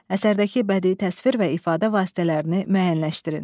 Əsərdəki bədii təsvir və ifadə vasitələrini müəyyənləşdirin.